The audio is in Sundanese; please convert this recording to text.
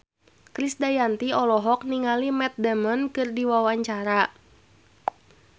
Krisdayanti olohok ningali Matt Damon keur diwawancara